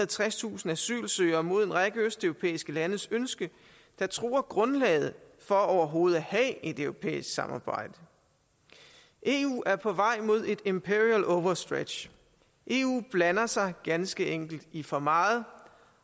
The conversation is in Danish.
og tredstusind asylsøgere mod en række østeuropæiske landes ønske der truer grundlaget for overhovedet at have et europæisk samarbejde eu er på vej mod et imperial overstretch eu blander sig ganske enkelt i for meget